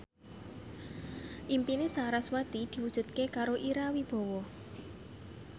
impine sarasvati diwujudke karo Ira Wibowo